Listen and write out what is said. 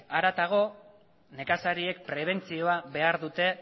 harago nekazariek prebentzioa behar dute